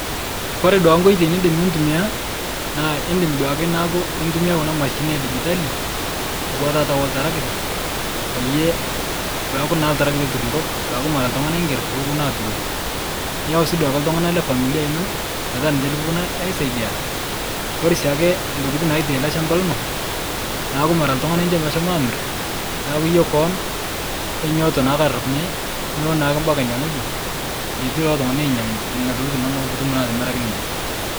Kore duake nkoitoi nidim nitumiya naa idim duake naaku itumia kuna mashinini edijitali auwa taa oltaragita, peyie peaku naa ltaragita oturr nkop aaku mara ltung'ana igerr pooponu aaturoki niyeu sii duake ltung'ana lefamilia ino petaa ninche likiponu aisaidia. Kore siake ntokitin naitai ale shamba lino naaku mara ltung'ana incho meshemo amir naaku iyie koon onyooto naake arapunye nulo naake mpaka nie ng'oji netii lolo tung'ana oinyang'u neina tokitin inono puutum naa atimiraki ninche.